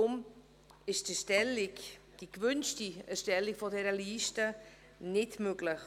Deshalb ist die gewünschte Erstellung dieser Liste nicht möglich.